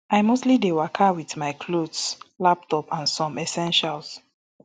i mostly dey waka wit my clothes laptop and some essentials